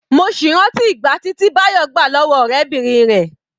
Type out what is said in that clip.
Mo sì rántí ìgbàtí tí Bayo gbà lọ́wọ́ ọ̀rẹ́bìnrin rẹ̀.